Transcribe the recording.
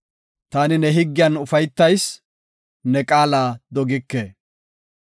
Taani ne higgiyan ufaytayis; ne qaala dogike.